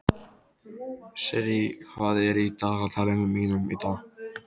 Sirrí, hvað er í dagatalinu mínu í dag?